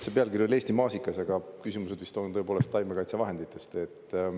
See pealkiri oli "Eesti maasikas", aga küsimused vist on tõepoolest taimekaitsevahenditest.